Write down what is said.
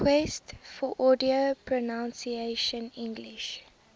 requests for audio pronunciation english